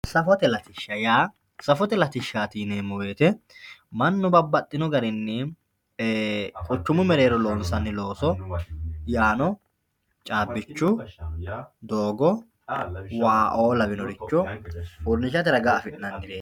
Safote latishsha yaa safote latishshati yineemmo woyte mannu babbaxxino garinni quchumu mereero loonsanni looso yaano caabbicho doogo waao lawinoricho uurrinshate ragani afi'nannireti.